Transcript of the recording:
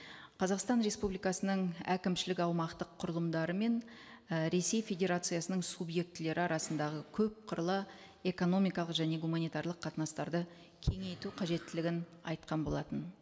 қазақстан республикасының әкімшілік аумақтық құрылымдары мен і ресей федерациясының субъектілері арасындағы көп қырлы экономикалық және гуманитарлық қатынастарды кеңейту қажеттілігін айтқан болатын